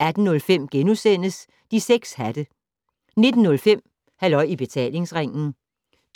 18:05: De 6 hatte * 19:05: Halløj I Betalingsringen